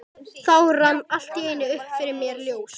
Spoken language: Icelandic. Þá rann allt í einu upp fyrir mér ljós.